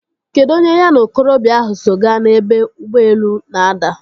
Kedụ onye ya na okorobịa ahụ so gaa n'ebe ụgbọelu na-ada?